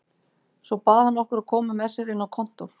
Svo bað hann okkur að koma með sér inn á kontór.